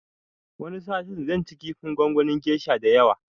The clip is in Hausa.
Wani satin zan ci kifin gongonin gesha da yawa